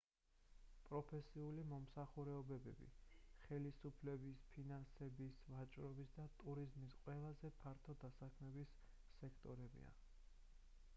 პროფესიული მომსახურებები ხელისუფლება ფინანსები ვაჭრობა და ტურიზმი ყველაზე ფართო დასაქმების სექტორებია